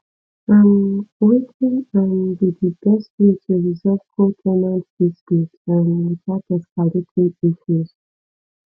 um wetin um be di best way to resolve co ten ant dispute um without escalating issues